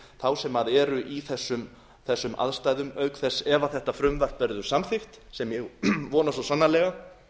þá sem eru í þessum aðstæðum auk þess ef þetta frumvarp verður samþykkt sem ég vona svo sannarlega